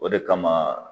O de kama